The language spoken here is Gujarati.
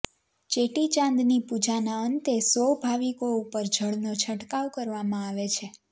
ચેટીચાંદની પૂજાના અંતે સૌ ભાવિકો ઉપર જળનો છંટકાવ કરવામાં આવે છે